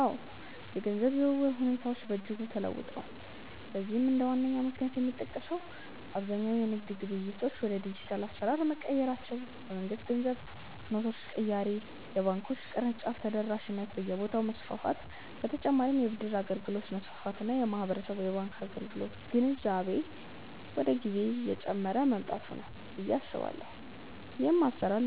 አዎ፣ የገንዘብ ዝውውር ሁኔታዎች በእጅጉ ተለውጠዋል። ለዚህም እንደ ዋነኛ ምክንያት የሚጠቀሰው አብዛኛው የንግድ ግብይቶች ወደ ዲጂታል አሰራር መቀየራቸው፣ የመንግስት የገንዘብ ኖቶች ቅያሬ፣ የባንኮች የቅርንጫፍ ተደራሽነት በየቦታው መስፋፋት በ ተጨማርም የ ብድር አገልግሎት መስፋፋት እና የህብረተሰቡ የባንክ አገልግሎት ግንዛቤ ከጊዜ ወደ ጊዜ እየጨመረ መምጣቱ ነው ብዬ አስባለሁ። ይህም